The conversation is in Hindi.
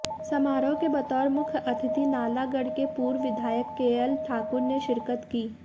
समारोह के बतौर मुख्य अतिथि नालागढ़ के पूर्व विधायक केएल ठाकुर ने शिरकत की